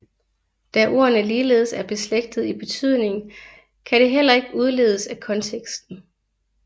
Da ordene ligeledes er beslægtede i betydning kan det heller ikke udledes af konteksten